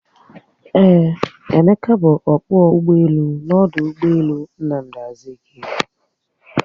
Eeh, Emeka bu ọkpọ ụgbọelu n'ọdụ ụgbọelu Nnamdi Azikiwe